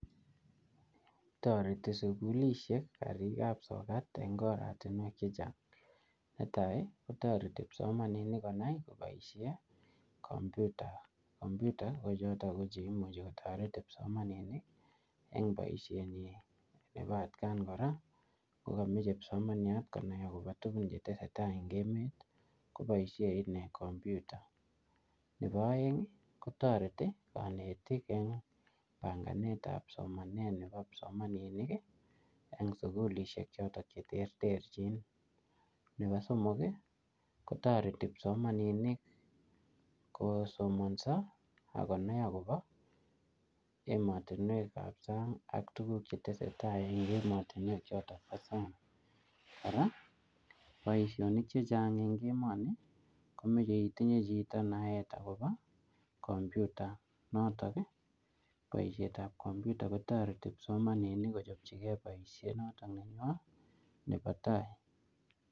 Toreti sukulishek karik ap sokat eng oratunwek chechang'. Netai, kotoreti kipsomaninik konai koboisie kompyuta. Kompyuta ko chotok ko che imuchi kotoret kipsomaninik eng boisiet nyi. Nebo atkaan kora, kokameche kipsomaniat konai akobo tuguk che tesetai eng emet, koboisie inee kompyuta. Nebo aeng, kotoreti kanetik eng panganet ap somanet nebo kipsomaninik, eng sukulishek chotok che terterchin. Nebo somok, kotoreti kipsomaninik kosomanso, akonai akobo emotunwek ap sang ak tuguk che tesetai eng emotunwek chotok bo sang. Kora, boisonik chechang eng emoni, komeche itinye chito naet akobo kompyuta. Notok ko boiset ap kompyuta kotoreti kipsomaninik kochopchikei boisiet notok nebo-nebo tai.